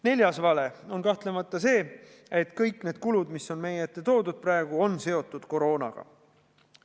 Neljas vale on kahtlemata see, et kõik need kulud, mis on meie ette toodud, on seotud koroonaga.